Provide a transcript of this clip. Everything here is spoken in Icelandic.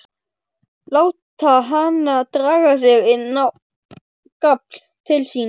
Láta hana draga sig inn á gafl til sín.